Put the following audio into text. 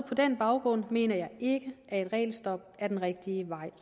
den baggrund mener jeg ikke at et regelstop er den rigtige vej